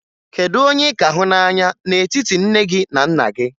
Kedu onye ị ka hụ n'anya n'etiti nne gị na nna gị?